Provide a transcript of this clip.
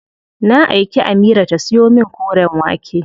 Na aiki Amira ta siyo min koren wake.